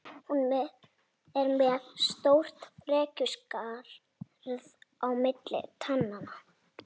Hún er með stórt frekjuskarð á milli tannanna.